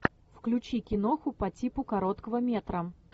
включи киноху по типу короткого метра